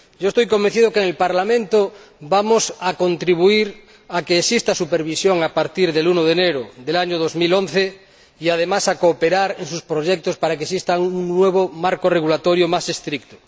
Estoy convencido de que en el Parlamento vamos a contribuir a que exista supervisión a partir del 1 de enero del año 2011 y, además, a cooperar en sus proyectos, para que exista un nuevo marco regulatorio más estricto.